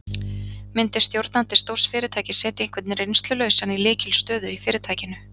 Myndi stjórnandi stórs fyrirtækis setja einhvern reynslulausan í lykilstöðu í fyrirtækinu?